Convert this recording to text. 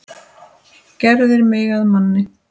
Gerðir mig að manni.